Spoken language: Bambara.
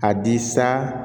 A di sa